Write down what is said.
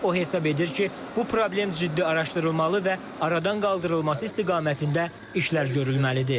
O hesab edir ki, bu problem ciddi araşdırılmalı və aradan qaldırılması istiqamətində işlər görülməlidir.